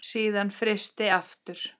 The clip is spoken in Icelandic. Síðan frysti aftur.